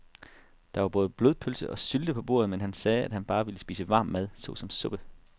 Der var både blodpølse og sylte på bordet, men han sagde, at han bare ville spise varm mad såsom suppe.